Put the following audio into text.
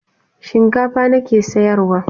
Shinkafa na ke sayarwa.